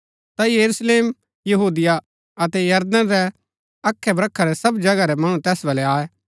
ता यरूशलेम यहूदिया अतै यरदन रै अखैब्रखा रै सब जगह रै मणु तैस बल्लै आये